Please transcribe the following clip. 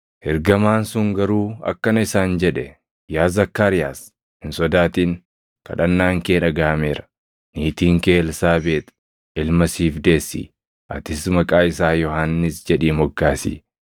Ergamaan sun garuu akkana isaan jedhe; “Yaa Zakkaariyaas, hin sodaatin; kadhannaan kee dhagaʼameera. Niitiin kee Elsaabeex ilma siif deessi; atis maqaa isaa Yohannis jedhii moggaasi.